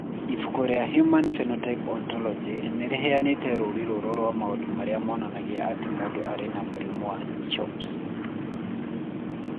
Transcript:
Ibuku rĩa The Human Phenotype Ontology nĩ rĩheanĩte rũũri rũrũ rwa maũndũ marĩa monanagia atĩ mũndũ arĩ na mũrimũ wa CHOPS.